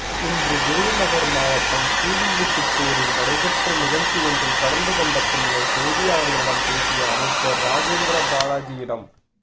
இன்று விருதுநகர் மாவட்டம் ஸ்ரீவில்லிபுத்தூரில் நடைபெற்ற நிகழ்ச்சி ஒன்றில் கலந்து கொண்ட பின்னர் செய்தியாளர்களிடம் பேசிய அமைச்சர் ராஜேந்திரபாலாஜியிடம்